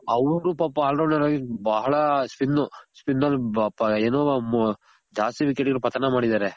ಅವ್ರು ಪಾಪ all rounder ಆಗಿ ಬಹಳ spin. spin ಅಲ್ಲಿ ಏನು ಜಾಸ್ತಿ ವಿಕೆಟ್ ಪತನ ಮಾಡಿದಾರೆ.